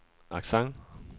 accent